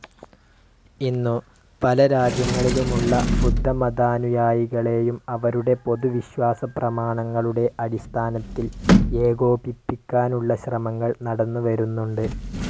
ഇന്നു, പല രാജ്യങ്ങളിലുമുള്ള ബുദ്ധമതാനുയായികളെയും, അവരുടെ പൊതുവിശ്വാസപ്രമാണങ്ങളുടെ അടിസ്ഥാനത്തിൽ ഏകോപിപ്പിക്കാനുള്ള ശ്രമങ്ങൾ നടന്നുവരുന്നുണ്ട്.